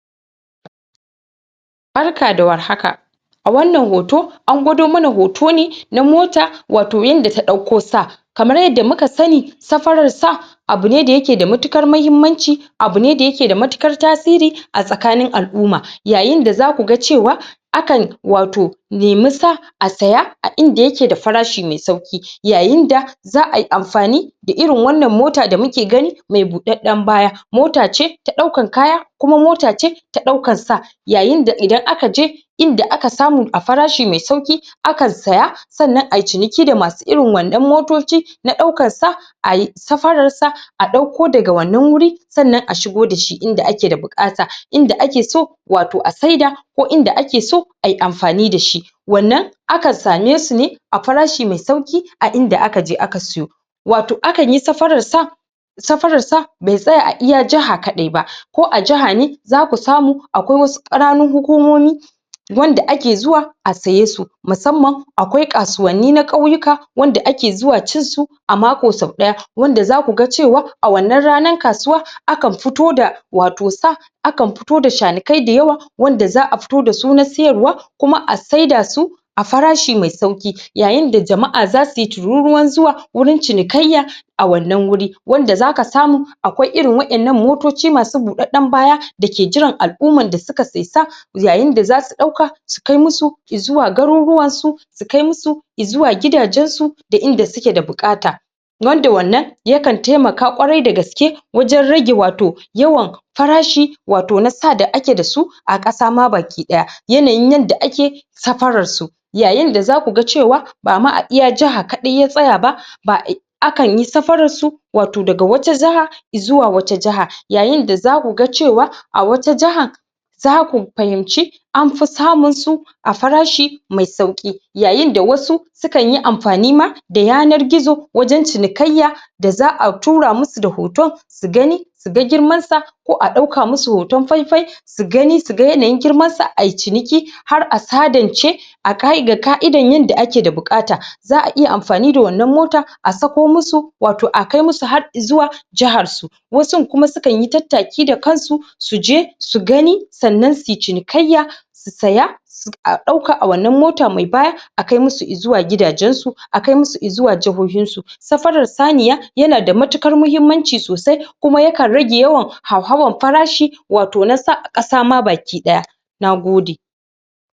Barka da warhaka A wannan hoto an gwado mana hoto na mota wato yadda ta ɗauko sa. kamar uyadda muka sani, safarar sa abune da yakje da matuƙar muhimmanci abu ne da vyake da matuƙar tasiri a xcikin al'umma, yayai da za ku ga cewa akan wato nemi sa a saya a inda yake da farashi mai sauƙi yayin da za ai amfani da irin wannan mota da muke gani mai buɗaɗɗen baya. Mota ce ta ɗaukan kaya, kuma mota ce ta ɗaukan sa. yayin da idana ka je inda aka samu a farashi mai sauƙi a ka saya, sannan ai ciniki da masu irin wannan motoci na ɗaukar sa, ai safararsa a ɗauko daga wannan wuri sannan a shigo da shi inda ake da buƙata inda ake so wato a saida, ko inda ake so ai amfani da shi. Wannan akan same su ne a afarashi mai sauƙi a inda aka je aka sayo. Wato akan yi safararsa safararsa ba zai tsaya a iya jaha kaaɗai ba ko a jaha ne za ku samu akwai wasu ƙananan hukumomi wanda ake zuwa a saye sun musamman akwai kasuwanni na ƙauyuka wanda ake zuwa cinsu sau ɗaya wanda za ku ga cewa a wannan ranar kasuwa akan fito da wato sa, akan fito da shanukai da yawa wanda za a fito da su na siyarwa kuma a saida su a farashi mai sauƙi yayin da jama'a za su yi turuwan zuwa wurin cinikayya a wannan wuri wanda zaka samu akwai irin waɗannan motoci masu buɗaɗɗen baya da ke jiran al'ummar da su kai sai sa, yayin da za su ɗauka su kai musu izuwa garuruwansu su kai musu i zuwa gidajensu da inda suke da buƙata. wanda wannan yakan taimaka kwarai da gaske wajen rage wato yawan farashi wato na sa da ake dasu a ƙasa ma baki ɗaya. YAnayin yanda ake safararsu, yayin da za ku ga cewa bama a iya jaha kaɗai ya tsaya ba, ba, akan yi safararsu daga wata jiha zuwa wata jiha, yayin da zaku ga cewa a wata jaha ja ku fahimci anfi saminsu a farashi mai sauƙi, yayin da wasu sukan yi amfani ma da yanar gizo wajen cinikayya da za'a tura musu da hoton su gani su ga girmansa ko a ɗauka musu hoton faifai su gani, su ga yanayin girmansa ai ciniki har a sadance a kaidan yadda ake da buƙata za a iya amfani da wannan mota a sako musu wato a kai musu har izuwa jahar su. Wasun kuma su kan yi tattaki da kansu su je su gani sannan su cinikayya, su saya a ɗauka a wannan mota mai baya a kai musu izuwa gidajensu a kai musu izuwa jahohinsu. Safarar saniya yana da matuƙar muhimmanci sosai kuma yakan rage yawan hauhawan farashi wato na sa ƙasa ma baki ɗaya, nagode.